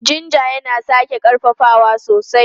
Jinja yana sake ƙarfafawa sosai.